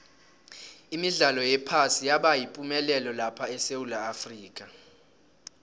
imidlalo yephasi yabayipumelelo lapha esewula afrika